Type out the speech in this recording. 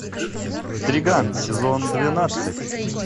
триган сезон двенадцать